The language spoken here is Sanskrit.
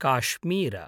काश्मीर